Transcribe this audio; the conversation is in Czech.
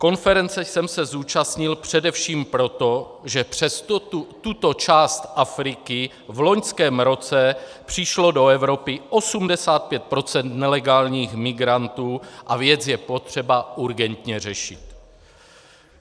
Konference jsem se zúčastnil především proto, že přes tuto část Afriky v loňském roce přišlo do Evropy 85 % nelegálních migrantů a věc je potřeba urgentně řešit.